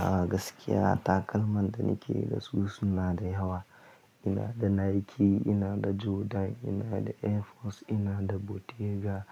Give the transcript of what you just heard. A gaskiya takalman da nake da su suna da yawa. Ina da Nike, ina da Jordan, ina da Air Force, ina da Bottega,